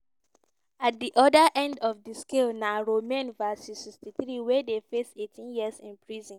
at di oda end of di scale na romain v 63 wey dey face 18 years in prison.